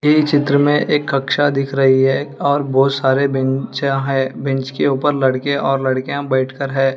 ये चित्र में एक कक्षा दिख रही है और बहुत सारे बेंचा है बेंच के ऊपर लड़के और लड़कियां बैठकर है।